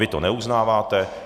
Vy to neuznáváte.